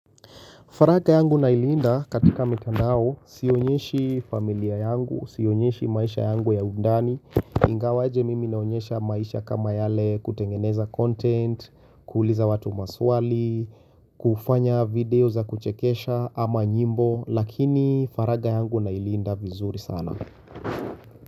Faragha yangu na ilinda katika mikandao siyonyeshi familia yangu, siyonyeshi maisha yangu ya undani. Ingawaje mimi naonyesha maisha kama yale kutengeneza content, kuuliza watu maswali, kufanya video za kuchekesha ama nyimbo lakini faragha yangu na ilinda vizuri sana.